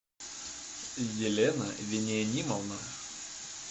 елена вениаминовна